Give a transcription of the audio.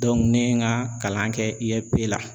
ne ye n ka kalan kɛ IFP la